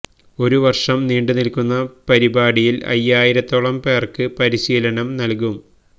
ഒരു വര്ഷം നീണ്ടു നില്ക്കുന്ന പരിപാടിയില് അയ്യായിരത്തോളം പേര്ക്ക് പരിശീലനം നല്കും